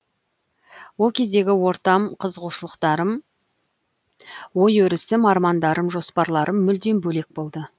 ол кездегі ортам қызығушылықтарым ой өрісім армандарым жоспарларым мүлдем бөлек болды